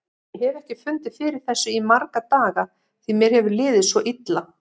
Ég hef ekki fundið fyrir þessu í marga daga því mér hefur liðið svo illa.